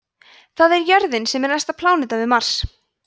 það er jörðin sem er næsta pláneta við mars